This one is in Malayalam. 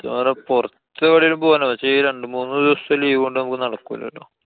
സത്യം പറഞ്ഞാ പൊറത്തെവെടെലും പോവാനാ. പക്ഷെ ഈ രണ്ടു മൂന്നു ദിവസത്തെ leave ഓണ്ട് നമുക്ക് നടക്കൂലാ ട്ടൊ.